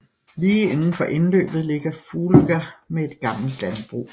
Lige indenfor indløbet ligger Fugløya med et gammelt landbrug